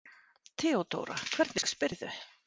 THEODÓRA: Hvernig spyrðu?